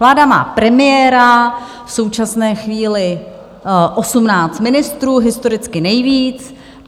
Vláda má premiéra, v současné chvíli 18 ministrů, historicky nejvíc.